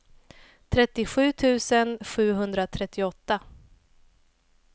trettiosju tusen sjuhundratrettioåtta